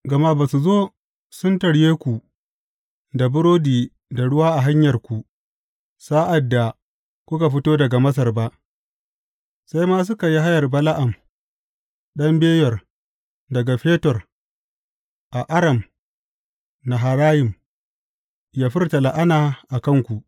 Gama ba su zo sun tarye ku da burodi da ruwa a hanyarku, sa’ad da kuka fito daga Masar ba, sai ma suka yi haya Bala’am ɗan Beyor daga Fetor a Aram Naharayim yă furta la’ana a kanku.